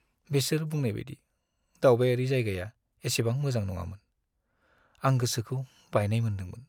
बेसोर बुंनायबादि दावबायारि जायगाया एसेबां मोजां नङामोन, आं गोसोखौ बायनाय मोनदोंमोन।